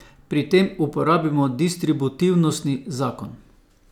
Pri tem uporabimo distributivnostni zakon.